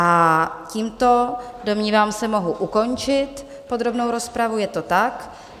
A tímto, domnívám se, mohu ukončit podrobnou rozpravu, je to tak.